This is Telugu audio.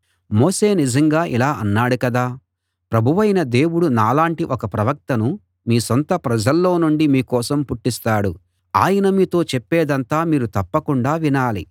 మోషే నిజంగా ఇలా అన్నాడు కదా ప్రభువైన దేవుడు నాలాంటి ఒక ప్రవక్తను మీ సొంత ప్రజల్లో నుండి మీకోసం పుట్టిస్తాడు ఆయన మీతో చెప్పేదంతా మీరు తప్పకుండా వినాలి